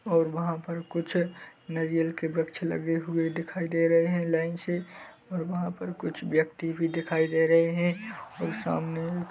और वहाँ पर कुछ नारियल के वृक्ष लगे हुए दिखाई दे रहे हैं लाइन से और वहाँ पर कुछ व्यक्ति भी दिखाई दे रहे हैं और सामने एक--